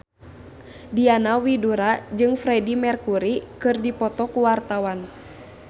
Diana Widoera jeung Freedie Mercury keur dipoto ku wartawan